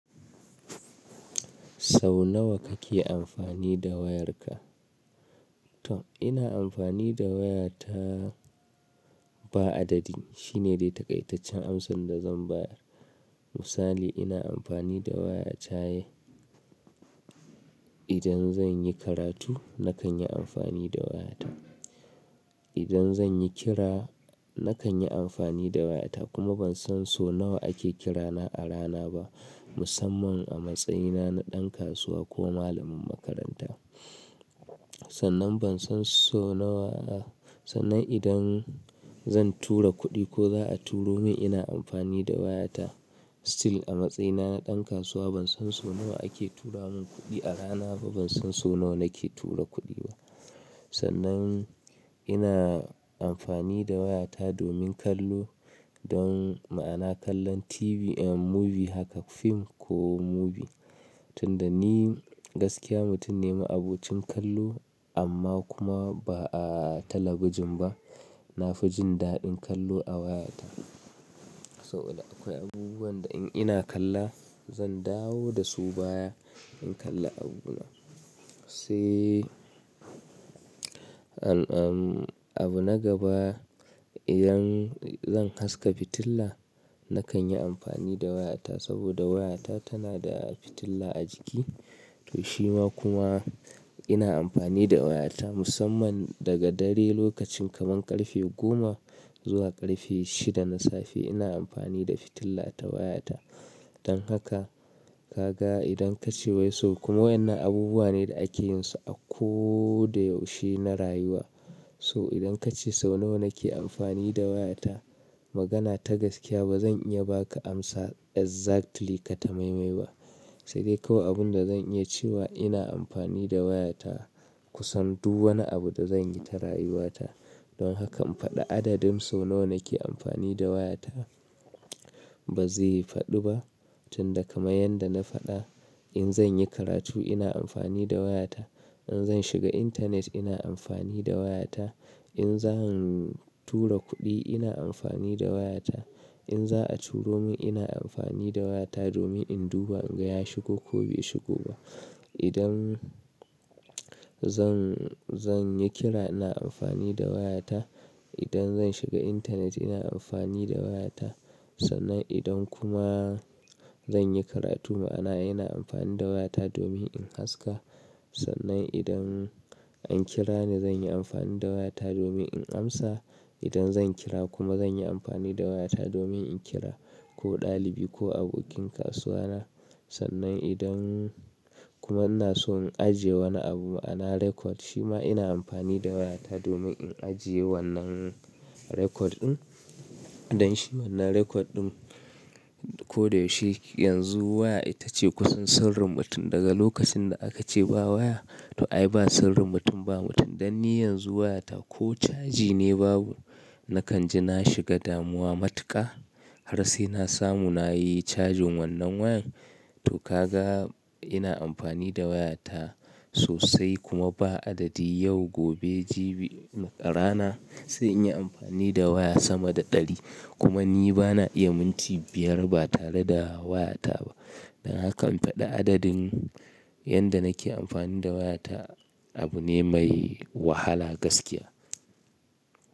Sau nawa kake amfani da wayarka? To, ina amfani da wayata ba adadi. Shi ne dai taƙaitaccen amsan da zan bayar. Misali, ina amfani da waya ta. Idan zan yi karatu, nakan yi amfani da wayata. Idan zan yi kira, nakan yi amfani da wayata kuma ban san so nawa ake kira na a rana ba, musamman a matsayina na ɗan kasuwa ko malamin makaranta. Sannan ban san so nawa a-- sannan idan zan tura kuɗi ko za a turo min, ina amfani da wayata. Still a matsayina na ɗan kasuwa ban san so nawa ake tura min kuɗi a rana ba, ban san so nawa nake tura kuɗi ba. Sannan ina amfani da wayata domin kallo don ma'ana kallon TV, eh, movie haka fim ko movie. Tunda ni gaskiya mutum ne ma abocin kallo amma kuma ba a talabijin ba. Na fi jin daɗin kallo a wayata. Sau da akwai abubuwan da in ina kalla zan dawo da su baya in kalla abuna. Sai, abu na gaba idan zan haska fitila, nakan yi amfani da wayata saboda wayata tana da fitila a jiki. To shima kuma ina amfani da wayata musamman daga dare lokacin kaman ƙarfe goma zuwa ƙarfe shida na safe ina amfani da fitilla ta wayata. Don haka, ka ga idan ka ce wai so kuma wayannan abubuwa ne da ake yin su a ko da yaushe na rayuwa. So idan ka ce sau nawa nake amfani da wayata, magana ta gaskiya ba zan iya ba ka amsa exactly kata maimai ba. Sai dai kawai abun da zan iya cewa ina amfani da wayata kusan du wani abu da zan yi ta rayuwata. Don hakan faɗa adadin sau nawa nake amfani da wayata ba zai faɗi ba. Tunda kamar yanda na faɗa, in zan yi karatu ina amfani da wayata. In zan shiga intanet ina amfani da wayata. In zan tura kuɗi ina amfani da wayata. In za a turo min ina amfani da wayata domin in duba in ga ya shigo ko bai shigo ba. Idan zan, zan yi kira ina amfani da wayata. Idan zan shiga intanet ina amfani da wayata. Sannan idan kuma zan yi karatu ma'ana ina amfani da wayata domin in haska. Sannan idan an kira ni zan yi amfani da wayata domin in amsa. Idan zan kira kuma zan yi amfani da wayata domin in kira ko ɗalibi ko abokin kasuwana. Sannan idan kuma ina so in ajiye wani abu ma'ana record shima ina amfani da wayata domin in ajiye wannan record ɗin. Don shi wannan record ɗin ko da yaushe yanzu waya ita ce kusan sirrin mutum daga lokacin da aka ce ba waya. To ai ba sirrin mutum ba mutum. Dan ni yanzu wayata ko caji ne babu, nakan ji na shiga damuwa matuƙa. Har sai na samu na yi cajin wannan wayan. To ka ga ina amfani da wayata sosai kuma ba adadi yau, gobe, jibi, rana sai in yi amfani da waya sama da ɗari. Kuma ni ba na iya minti biyar ba tare da wayata ba. Don hakan faɗa adadin yanda nake amfani da wayata abu ne mai wahala gaskiya.